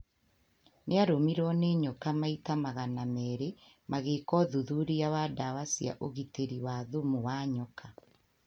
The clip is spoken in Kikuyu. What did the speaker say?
Nĩ arũmirwo nĩ nyoka maita magana meeri magĩka ũthuthuria wa ndawa cia ũgitĩri wa thumu wa nyoka.